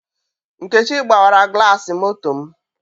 Nkechi gbawara glasi moto m